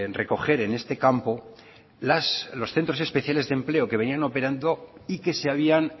recoger en este campo los centros especiales de empleo que venían operando y que se habían